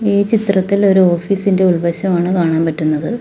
ഈ ചിത്രത്തിൽ ഒരു ഓഫീസ് ഇന്റെ ഉൾവശമാണ് കാണാൻ പറ്റുന്നത്.